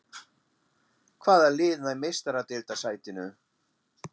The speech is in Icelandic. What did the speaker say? Hvaða lið nær Meistaradeildarsætinu?